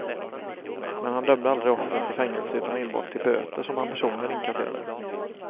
Men han dömde aldrig offren till fängelse utan enbart till böter som han personligen inkasserade.